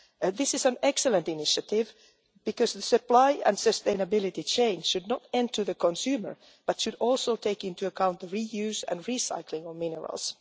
This is an excellent initiative because the supply and sustainability chain should not end with the consumer, but should also take into account the reuse and recycling of minerals.